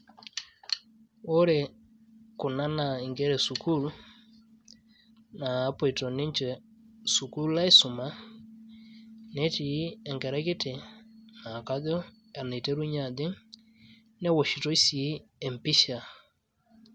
Ore kuna naa inkera esukuul napuoito niche sukuul aisuma netii enkerai kiti naa kaj enaiterunyie ajing newoshitoi sii empisha